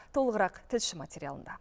толығырақ тілші материалында